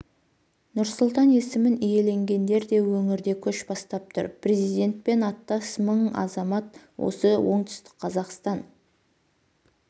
нұрсұлтан есімін иеленгендер де өңірде көш бастап тұр президентпен аттас мың азамат осы оңтүстік қазақстан